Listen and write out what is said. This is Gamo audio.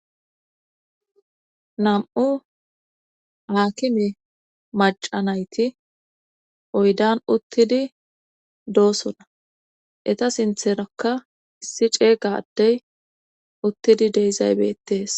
Nam'u haakime maca nayti oydan uttidi doosona eta sintherakka issi ceega addey uttidi deezay betees